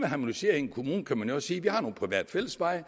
harmonisere i en kommune kan man jo sige vi har nogle private fællesveje og